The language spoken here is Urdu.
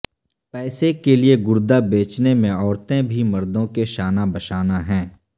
پیسے کے لیے گردہ بیچنے میں عورتیں بھی مردوں کے شانہ بشانہ ہیں